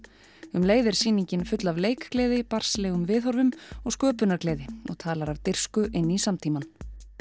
um leið er sýningin full af leikgleði viðhorfum og sköpunargleði og talar af dirfsku inn í samtímann